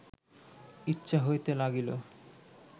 ইচ্ছা হইতে লাগিল